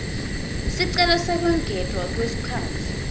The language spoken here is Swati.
sicelo sekwengetwa kwesikhatsi